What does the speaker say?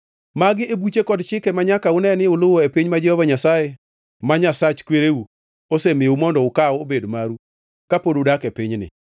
Magi e buche kod chike manyaka une ni uluwo e piny ma Jehova Nyasaye ma Nyasach kwereu, osemiyou mondo ukaw obed maru ka pod udak e pinyni.